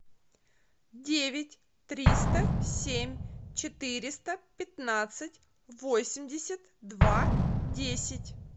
девять триста семь четыреста пятнадцать восемьдесят два десять